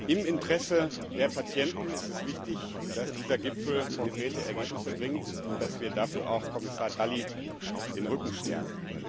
Im Interesse der Patienten ist es wichtig, dass dieser Gipfel konkrete Ergebnisse bringt und dass wir dafür auch Kommissar Dalli den Rücken stärken.